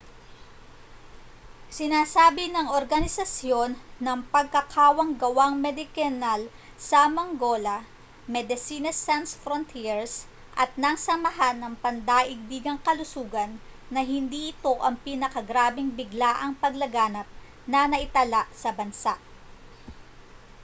sinasabi ng organisasyon ng pagkakawanggawang medikal na mangola medecines sans frontieres at ng samahan ng pandaigdigang kalusugan na hindi ito ang pinakagrabeng biglaang paglaganap na naitala sa bansa